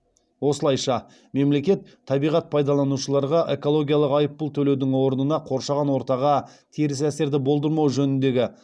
осылайша мемлекет табиғат пайдаланушыларға экологиялық айыппұл төлеудің орнына қоршаған ортаға теріс әсерді болдырмау жөніндегі